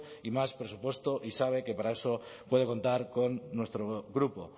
y más presupuesto y sabe que para eso puede contar con nuestro grupo